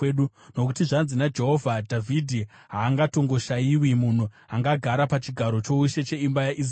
Nokuti zvanzi naJehovha: ‘Dhavhidhi haangatongoshayiwi munhu angagara pachigaro choushe cheimba yaIsraeri,